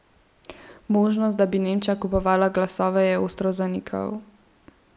Možnost, da bi Nemčija kupovala glasove, je ostro zanikal.